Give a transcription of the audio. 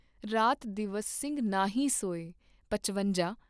ਰਾਤ ਦਿਵਸ ਸਿੰਘ ਨਾਂਹੀ ਸੋਏ ॥ਪਚਵੰਜਾ ॥